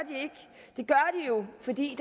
de jo fordi